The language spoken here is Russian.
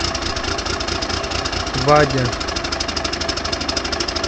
вадя